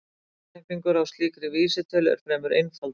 Útreikningur á slíkri vísitölu eru fremur einfaldur.